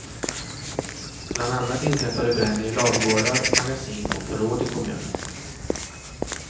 Bland annat inträffade bränder i ladugårdar, magasin och förråd i kommunen.